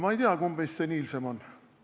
Ma ei tea, kumb meist seniilsem on.